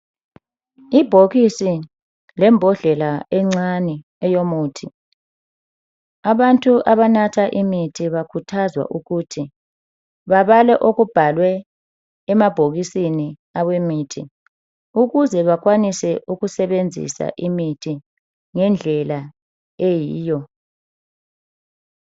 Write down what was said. Ibhokisi lembodlela encane eyomuthi abantu abanatha imithi bakhuthazwa ukuthi babale okubhalwe emabhokisini wemithi ukuze bakwanise ukusebenzisa imithi ngendlela eyiyo .